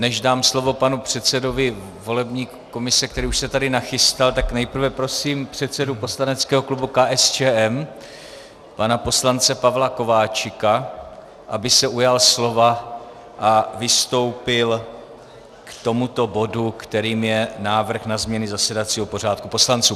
Než dám slovo panu předsedovi volební komise, který už se tady nachystal, tak nejprve prosím předsedu poslaneckého klubu KSČM pana poslance Pavla Kováčika, aby se ujal slova a vystoupil k tomuto bodu, kterým je návrh na změny zasedacího pořádku poslanců.